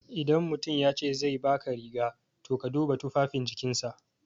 Idan mutum yace zai baka riga, to ka duba tufafin jikinsa.